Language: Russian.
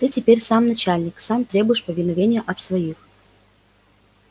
ты теперь сам начальник сам требуешь повиновения от своих